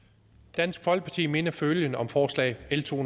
dansk folkeparti mener følgende om forslag l to